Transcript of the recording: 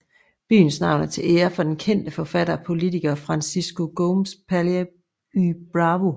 Byens navn er til ære for den kendte forfatter og politiker Francisco Gómez Palacio y Bravo